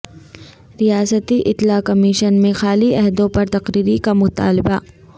ریاستی اطلاع کمیشن میں خالی عہدوں پر تقرری کا مطالبہ